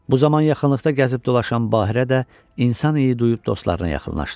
Bu zaman yaxınlıqda gəzib dolaşan Bahirə də insan iyi duyub dostlarına yaxınlaşdı.